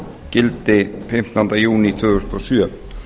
gildi fimmtánda júní tvö þúsund og sjö